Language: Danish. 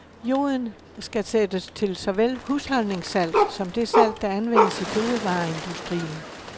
Joden skal sættes til såvel husholdningssalt som det salt, der anvendes i fødevareindustrien.